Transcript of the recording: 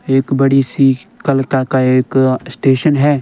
एक बड़ी सी कलका का एक स्टेशन है।